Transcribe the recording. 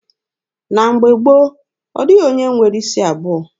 Na mgbe gboo, ọ dịghị onye nwere isi abụọ.